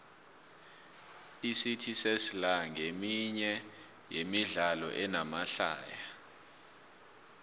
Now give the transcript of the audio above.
icity sesla nqeminye yemidlalo enamahlaya